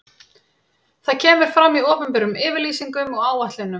Það kemur fram í opinberum yfirlýsingum og áætlunum.